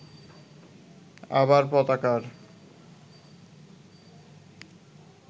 আবার পতাকার